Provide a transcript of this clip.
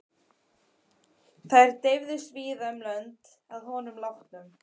Þær dreifðust víða um lönd að honum látnum.